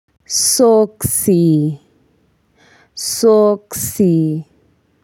Soksi. Soksi.